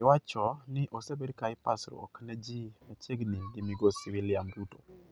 Iwacho ni osebed ka ipasruok ne ji machiegini gi migosi William Ruto.